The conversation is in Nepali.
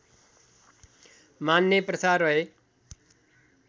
मान्ने प्रथा रहे